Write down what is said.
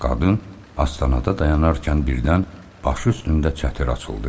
Qadın, astanada dayanarkən birdən başı üstündə çətir açıldı.